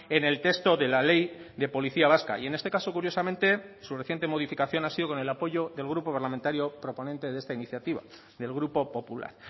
en el texto de la ley de policía vasca y en este caso curiosamente su reciente modificación ha sido con el apoyo del grupo parlamentario proponente de esta iniciativa del grupo popular